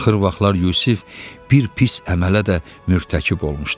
Axır vaxtlar Yusif bir pis əmələ də mürtəkib olmuşdu.